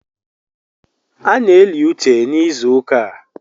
A na-eli uche n’ịzụụka a